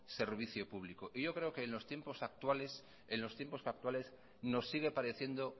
servicio público y yo creo que en los tiempos actuales nos sigue pareciendo